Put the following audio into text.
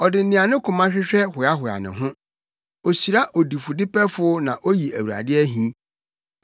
Ɔde nea ne koma hwehwɛ hoahoa ne ho; ohyira odifudepɛfo na oyi Awurade ahi.